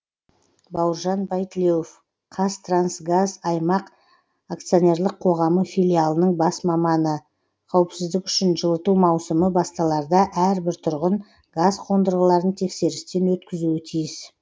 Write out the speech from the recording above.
бауыржан байтілеуов қазтрансгаз аймақ акционерлік қоғамы филиалының бас маманы қауіпсіздік үшін жылыту маусымы басталарда әрбір тұрғын газ қондырғыларын тексерістен өткізуі тиіс